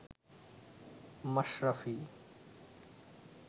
Mashrafe